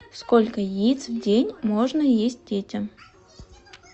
сколько яиц в день можно есть детям